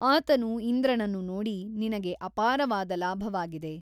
ಆತನು ಇಂದ್ರನನ್ನು ನೋಡಿ ನಿನಗೆ ಅಪಾರವಾದ ಲಾಭವಾಗಿದೆ.